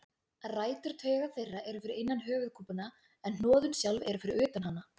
Rætur tauga þeirra eru fyrir innan höfuðkúpuna en hnoðun sjálf eru fyrir utan hana.